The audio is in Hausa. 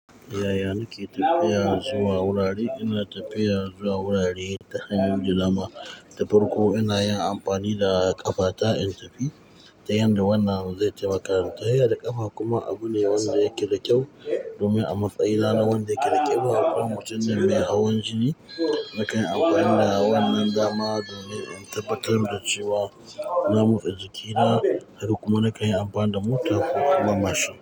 Yaya ni ke tafiya zuwa wurare? Ina tafiya zuwa wurare ta hannun dama. Ta farko ina yin amfani da ƙafa ta in tafi, ta yanda wannan zai taimaka ta hiya da ƙafa kuma abu ne wanda yake da kyau domin a matsayina. Na wanda yake da kyau. Haka kuma mutum mai hawan jini na kan amfani da wannan dama domin in tabbatar da cewa na motsa jikina har kuma na kai amfanin da mota ko kuma mashin.